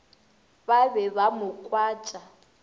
ba be ba mo kwatša